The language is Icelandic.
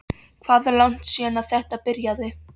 Hvað er langt síðan að þetta byrjaði?